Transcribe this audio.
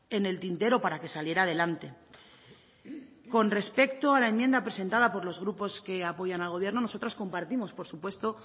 en el tintero para que saliera adelante con respecto a la enmienda presentada por los grupos que apoyan al gobierno nosotros compartimos por supuesto